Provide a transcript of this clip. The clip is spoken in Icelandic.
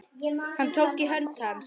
Hann tók í hönd hans.